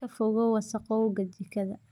Ka fogow wasakhowga jikada.